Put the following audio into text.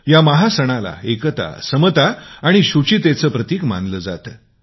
या महासणाला एकता समता आणि शुचितेचे प्रतिक मानले जाते